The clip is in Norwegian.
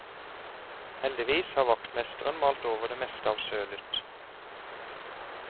Heldigvis har vaktmesteren malt over det meste av sølet.